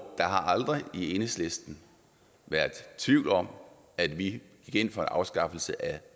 har aldrig i enhedslisten været tvivl om at vi gik ind for en afskaffelse af